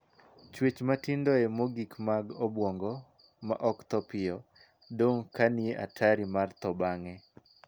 Chuech matindoe mogik mag obuongo, ma ok thoo mapiyo, dong' ka nie atari mar thoo bang'e.